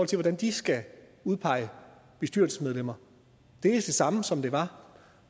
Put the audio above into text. til hvordan de skal udpege bestyrelsesmedlemmer det er det samme som det var